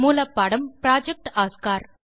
மூலப்பாடம் project Oscar